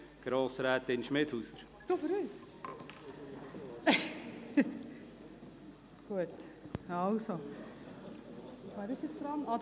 Das Postulat 057-2017 Schmidhauser (Interlaken, FDP) ist nicht abzuschreiben.